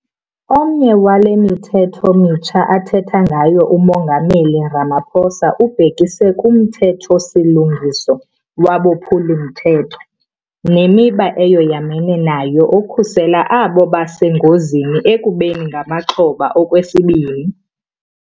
Omnye wale mithetho mitsha athetha ngayo uMongameli Ramaphosa ububhekise kuMthetho-silungiso waboPhuli-mthetho neMiba eyoyamene nayo okhusela abo basengozini ekubeni ngamaxhoba okwesibini.